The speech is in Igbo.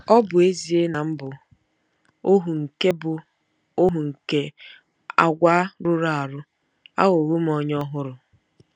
Ọ bụ ezie na m bụ ohu nke bụ ohu nke àgwà rụrụ arụ, aghọwo m onye ọhụrụ.